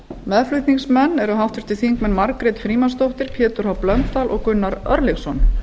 meðflutningsmenn eru háttvirtir þingmenn margrét frímannsdóttir pétur h blöndal og gunnar örlygsson